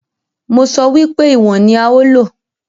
Mo sọ wípé ìwọ̀n ní a ó lò.